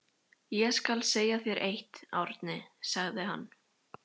Ég skal segja þér eitt, Árni, sagði hann.